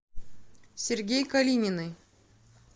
сергей калининый